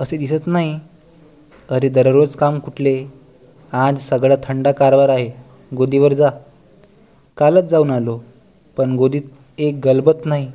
असे दिसत नाही अरे दरोज काम कुठले आज सगळा थंड कारभार आहे गोदीवर जा कालच जाऊन आलो पण गोदीत एक गलबत नाही